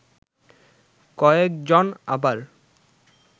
কয়েক জন আবার